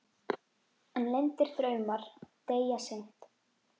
En leyndir draumar deyja seint.